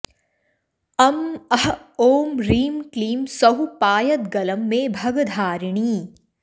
अं अः ॐ ह्रीं क्लीं सौः पायद्गलं मे भगधारिणी